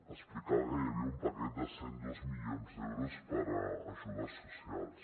explicava que hi havia un paquet de cent i dos milions d’euros per a ajudes socials